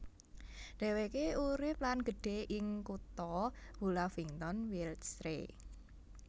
Dhéwéké urip lan gedhe ing kutha Hullavington Wiltshire